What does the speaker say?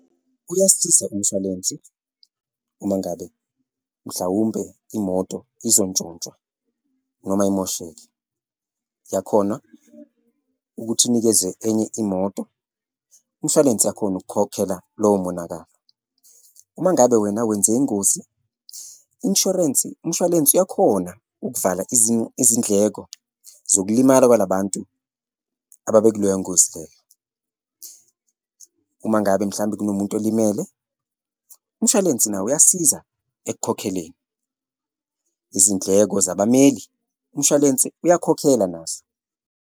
Uyasiza umshwalensi uma ngabe mhlawumbe imoto izontshontshwa noma imosheke, uyakhona ukuthi unikeze enye imoto, umshwalense yakhona ukukhokhela lowo monakalo. Uma ngabe wena wenze ingozi, inshorensi, umshwalense uyakhona ukuvala izindleko zokulimala kwala bantu ababe kuleyo ngozi leyo. Uma ngabe mhlawumbe kunomuntu olimele, umshwalense nawo uyasiza ekukhokheleni, izindleko zabameli umshwalense uyakhokhela nazo.